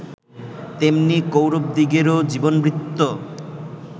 তেমনি কৌরবদিগেরও জীবনবৃত্ত